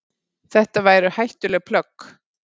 Þetta væru hættuleg plögg.